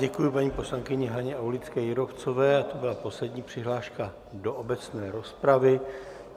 Děkuji paní poslankyně Haně Aulické Jírovcové a to byla poslední přihláška do obecné rozpravy.